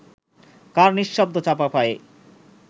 কার নিঃশব্দ চাপা পায়ে